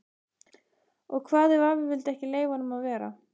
Og hvað ef afi vildi ekki leyfa honum að vera?